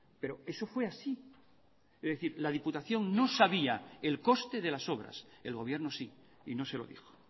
pero eso fue así es decir la diputación no sabía el coste de las obras el gobierno sí y no se lo dijo